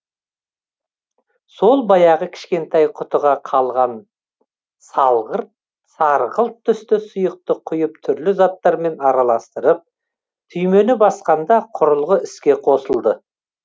сол баяғы кішкентай құтыға қалған сарғылт түсті сұйықты құйып түрлі заттармен араластырып түймені басқанда құрылғы іске қосылды